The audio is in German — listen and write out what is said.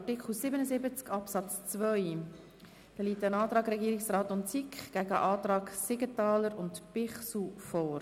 Zu Artikel 77 Absatz 2 liegt der Antrag Regierungsrat/SiK gegen den Antrag Siegenthaler/Bichsel vor.